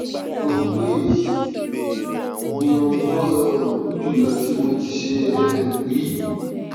mo rò pé èyí ni ohun tó um burú jùlọ tí mo tíì ṣe um rí